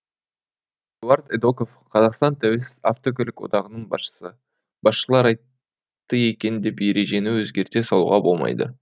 эдуард эдоков қазақстан тәуелсіз автокөлік одағының басшысы басшылар айтты екен деп ережені өзгерте салуға болмайды